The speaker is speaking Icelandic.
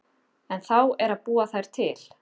En þá er að búa þær til.